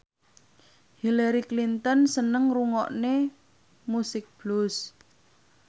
Hillary Clinton seneng ngrungokne musik blues